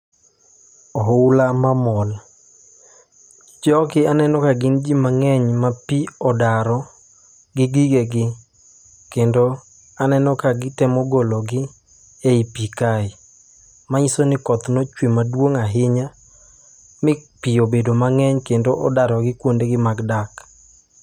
Ohula mamol, jogi aneno ka gin ji mag'eny ma pi odaro gi gigegi, kendo aneno kagitemo gologi ei pi kae, manyiso ni koth nochwe maduong' ahinya mi pi obedo mang'eny kendo odarogi kuondegi mag dak